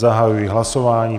Zahajuji hlasování.